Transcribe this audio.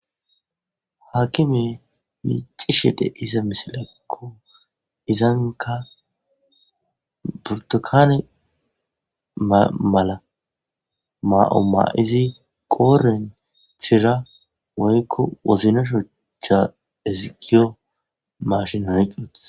Hakimi micisey dezay misileko burtukan mala ma'o mayidi woyiko wozay mashiney oyiqey uttiesi